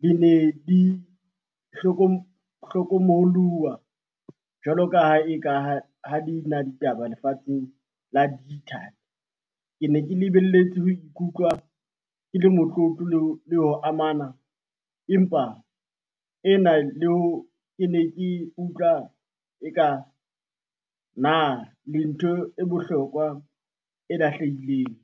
di ne di hlokomoloha jwalo ka ha e ka ha di na ditaba lefatsheng la . Ke ne ke lebelletse ho ikutlwa ke le motlotlo le ho amana empa e na le ho ke ne ke utlwa e ka, na le ntho e bohlokwa e lahlehileng.